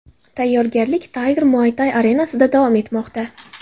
Tayyorgarlik Tiger Muaythai arenasida davom etmoqda.